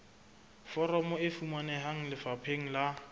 foromo e fumaneha lefapheng la